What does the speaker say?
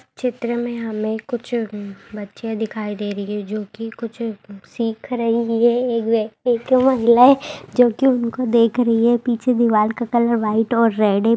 चित्र में हमें कुछ बच्चियाँ दिखाई दे रही है जो की कुछ सीख रही है एक जो की उनको देख रही हैं पीछे दीवाल का कलर वाइट और रेड है।